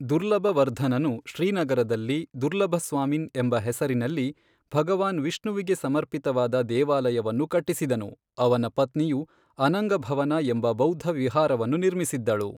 ದುರ್ಲಭವರ್ಧನನು ಶ್ರೀನಗರದಲ್ಲಿ ದುರ್ಲಭಸ್ವಾಮಿನ್ ಎಂಬ ಹೆಸರಿನಲ್ಲಿ ಭಗವಾನ್ ವಿಷ್ಣುವಿಗೆ ಸಮರ್ಪಿತವಾದ ದೇವಾಲಯವನ್ನು ಕಟ್ಟಿಸಿದನು, ಅವನ ಪತ್ನಿಯು ಅನಂಗಭವನ ಎಂಬ ಬೌದ್ಧ ವಿಹಾರವನ್ನು ನಿರ್ಮಿಸಿದ್ದಳು.